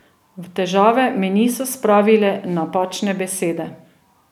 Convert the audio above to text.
V težave me niso spravile napačne besede.